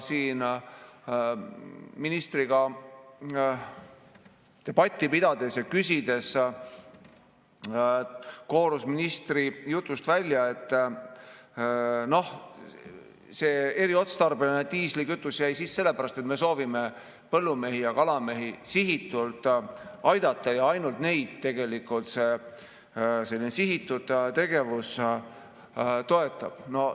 Ministriga debatti pidades ja küsides koorus ministri jutust välja, et noh, eriotstarbeline diislikütus jäi sisse sellepärast, et me soovime sihitusega aidata põllumehi ja kalamehi, ja ainult neid selline sihitud tegevus toetab.